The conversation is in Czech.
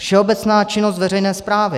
Všeobecná činnost veřejné správy.